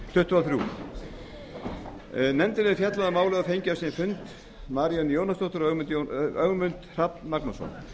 tuttugu og þrjú nefndin hefur fjallað um málið og fengið á sinn fund maríönnu jónasdóttur og ögmund hrafn magnússon